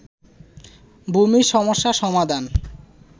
ভূমি সমস্যার সমাধান